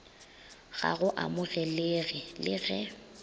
ga go amogelege le ge